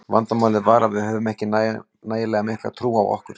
Vandamálið var að við höfðum ekki nægilega mikla trú á okkur.